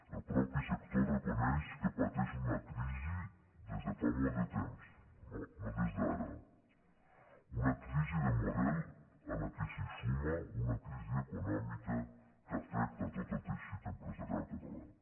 el mateix sector reconeix que pateix una crisi des de fa molt de temps no des d’ara una crisi de model a la qual se suma una crisi econòmica que afecta tot el tei·xit empresarial català